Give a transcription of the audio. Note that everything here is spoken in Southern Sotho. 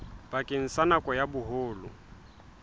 bakeng sa nako ya boholo